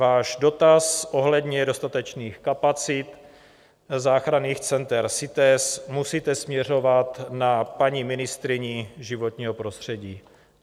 Váš dotaz ohledně dostatečných kapacit záchranných center CITES musíte směřovat na paní ministryni životního prostředí.